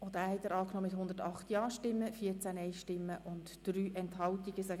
Sie haben den Artikel 56 Absatz 2 mit 108 Ja- zu 14 Nein-Stimmen bei 3 Enthaltungen angenommen.